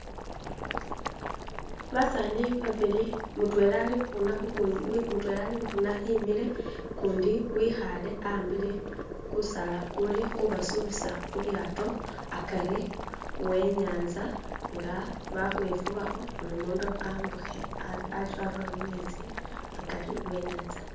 Basani babili mutwela alibukhuna imile kundi wikhale akhambile gusaala khuli khubasubisa khulyato hagari wenyatsa nga bakhwefubakho bulimundu ambukhe arule mumetsi hagari wenyatsa